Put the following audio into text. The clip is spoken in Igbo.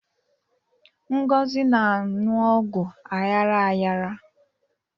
Ngozi na-aṅụ ọgwụ aghara aghara